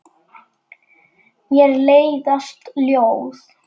Mér leiðast ljóð.